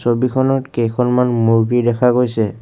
ছবিখনত কেইখনমান মূৰ্ত্তি দেখা গৈছে।